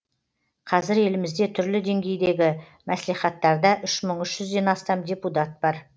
қазір елімізде түрлі деңгейдегі мәслихаттарда үш мың үш жүзден астам депутат бар